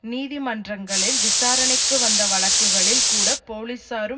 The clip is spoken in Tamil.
நீதிமன்றங்களில் விசாரணைக்கு வந்த வழக்குகளில் கூட போலீசாரும்